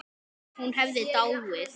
Ef hún hefði dáið.